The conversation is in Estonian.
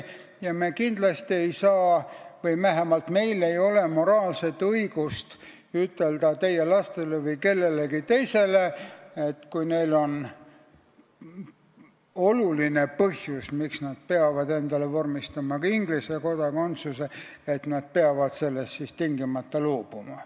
Ja me kindlasti ei saa – või vähemalt meil ei ole moraalset õigust – ütelda teie lastele või kellelegi teisele, kui neil on oluline põhjus, miks nad tahavad endale vormistada ka Inglise kodakondsuse, et nad peavad sellest tingimata loobuma.